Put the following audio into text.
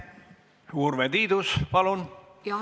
Urve Tiidus, palun!